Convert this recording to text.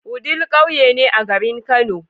Wudil ƙauye ne a garin kano